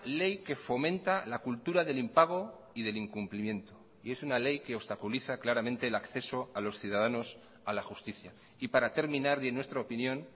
ley que fomenta la cultura del impago y del incumplimiento y es una ley que obstaculiza claramente el acceso a los ciudadanos a la justicia y para terminar y en nuestra opinión